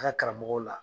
A ka karamɔgɔw la